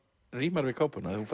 rímar við kápuna þú